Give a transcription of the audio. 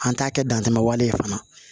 An t'a kɛ dantɛmɛ wale fana